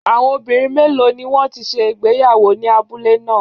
Àwọn obìnrin méèló ni wọ́n ti ṣe ìgbéyàwó ní abúlé ná à?